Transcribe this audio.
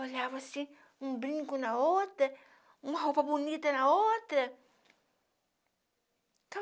Olhava assim, um brinco na outra, uma roupa bonita na outra.